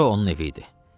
Bura onun evi idi.